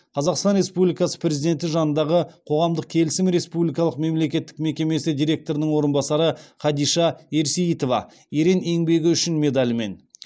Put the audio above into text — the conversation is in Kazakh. қазақстан республикасы президентінің жанындағы қоғамдық келісім республикалық мемлекеттік мекемесі директорының орынбасары хадиша ерсейітова ерен еңбегі үшін медалімен